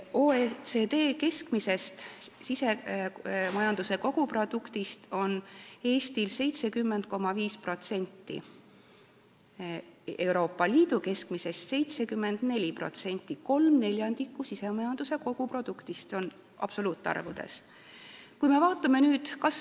Eesti SKT on OECD keskmisest 70,5%, Euroopa Liidu keskmisest aga 74% ehk kolm neljandikku, seda absoluutarvudes võetuna.